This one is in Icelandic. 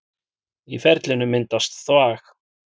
Í ferlinu myndast þvag.